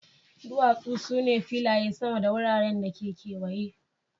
duwasu su ne filaye sama da wuraren da ke kewaye.